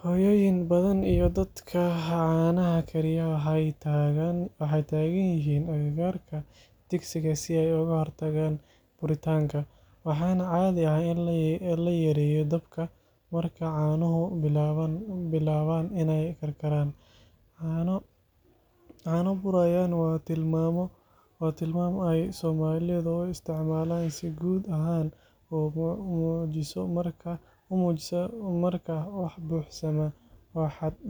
Hooyooyin badan iyo dadka caanaha kariya waxay taagan yihiin agagaarka digsigii si ay uga hortagaan buritaanka, waxaana caadi ah in la yareeyo dabka marka caanuhu bilaabaan inay karkaraan. Caano burayiin waa tilmaam ay Soomaalidu u isticmaalaan si guud ahaan u muujiso marka wax buuxsamaan oo xad dhaafaan.